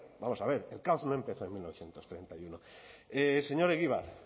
vamos a ver el caos no empezó en mil novecientos treinta y uno señor egibar